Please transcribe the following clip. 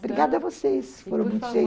Obrigada a vocês,